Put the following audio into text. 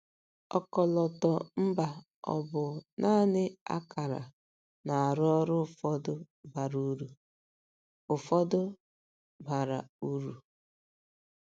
Ọkọlọtọ mba ọ bụ naanị ákàrà na-arụ ọrụ ụfọdụ bara uru? ụfọdụ bara uru?